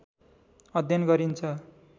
अध्ययन गरिन्छ।